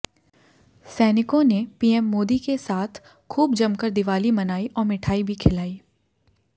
सैनिकों ने पीएम मोदी के साथ खूब जमकर दिवाली मनाई और मिठाई भी खिलाई